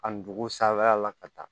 A dugu sanfɛla la ka taa